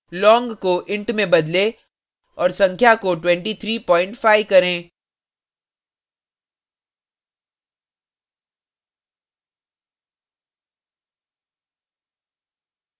long को int में बदलें और संख्या को 235 करें